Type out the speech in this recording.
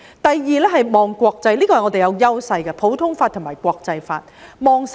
第二，一定要"望國際"，這是我們的優勢所在，即普通法和國際法。